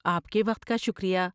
آپ کے وقت کا شکریہ۔